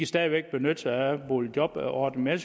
stadig væk benytte sig af boligjobordningen